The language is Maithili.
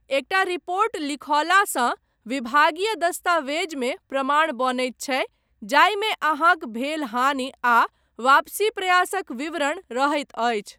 एकटा रिपोर्ट लिखौलासँ विभागीय दस्तावेजमे प्रमाण बनैत छै जाहिमे अहाँक भेल हानि आ वापसी प्रयासक विवरण रहैत अछि।